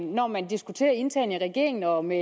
når man diskuterer internt i regeringen og med